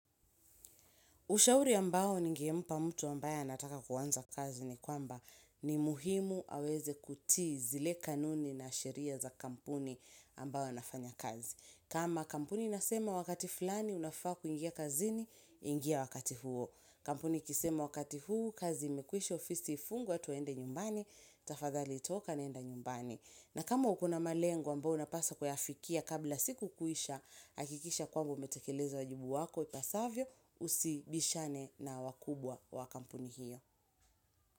Ushauri ambao ningempa mtu ambaye anataka kuanza kazi ni kwamba ni muhimu aweze kutii zile kanuni na sheria za kampuni ambayo anafanya kazi. Kama kampuni nasema wakati fulani unafaa kuingia kazini ingia wakati huo. Kampuni ikisema wakati huu kazi imekuisha ofisi ifungwe twende nyumbani tafadhali toka nenda nyumbani. Na kama ukona malengo ambayo unapaswa kuyafikia kabla siku kuisha, hakikisha kwamba umetekeleza wajibu wako ipasavyo, usibishane na wakubwa wakampuni hiyo.